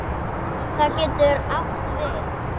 Það getur átt við